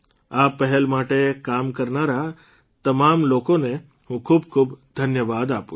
આ પહેલ માટે કામ કરનારા તે તમામ લોકોને હું ખૂબખૂબ ધન્યવાદ આપું છું